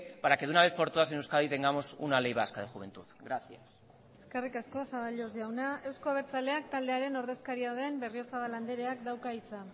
para que de una vez por todas en euskadi tengamos una ley vasca de juventud gracias eskerrik asko zaballos jauna euzko abertzaleak taldearen ordezkaria den berriozabal andreak dauka hitza